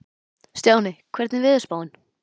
Stjáni, hvernig er veðurspáin?